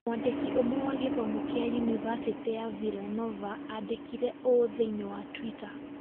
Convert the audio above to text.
Mwandĩki ũmwe wa gĩthomo kĩa yunivasĩtĩ ya Villanova aandĩkire ũũ thĩinĩ wa Twitter: